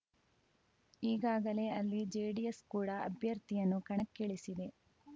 ಈಗಾಗಲೇ ಅಲ್ಲಿ ಜೆಡಿಎಸ್‌ ಕೂಡ ಅಭ್ಯರ್ಥಿಯನ್ನು ಕಣಕ್ಕಿಳಿಸಿದೆ